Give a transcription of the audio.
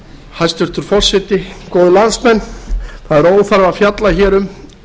hæstvirtur forseti góðir landsmenn það er óþarfi að fjalla hér um